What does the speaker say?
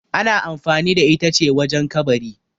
ana amfani da ita ce wajen kabari